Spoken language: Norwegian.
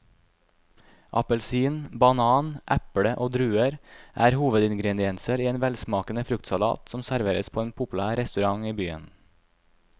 Appelsin, banan, eple og druer er hovedingredienser i en velsmakende fruktsalat som serveres på en populær restaurant i byen.